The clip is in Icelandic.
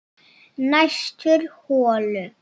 Næstur holu